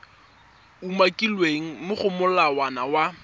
umakilweng mo go molawana wa